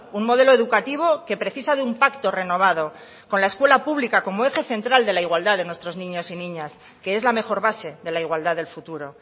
un modelo educativo que precisa de un pacto renovado con la escuela pública como eje central de la igualdad de nuestros niños y niñas que es la mejor base de la igualdad del futuro